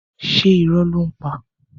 Ṣé irọ́ ló ń pa?